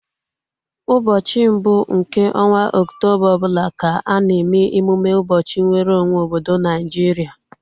Ụbọchị mbụ nke ọnwa oktoba ọbụla ka a na eme emume ụbọchị nweru onwe obodo Naijiria